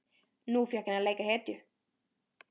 Nú fékk hann að leika hetju.